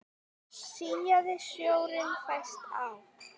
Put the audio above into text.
Síaði sjórinn fæst á